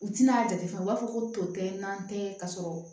U tina a jate fɛn u b'a fɔ ko tote n'an tɛ ka sɔrɔ